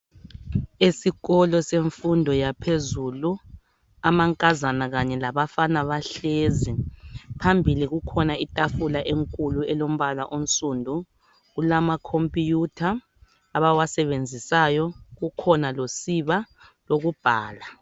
Esikolo semfundo yaphezulu, amankazana kanye labafana bahlezi. Phambili kukhona itafula enkulu elombala onsundu .Kulamakhompiyutha abawasebenzisayo. Kukhona losiba lokubhala.